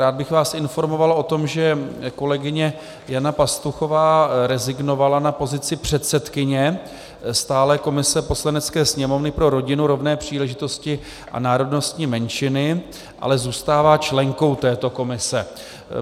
Rád bych vás informoval o tom, že kolegyně Jana Pastuchová rezignovala na pozici předsedkyně stálé komise Poslanecké sněmovny pro rodinu, rovné příležitosti a národnostní menšiny, ale zůstává členkou této komise.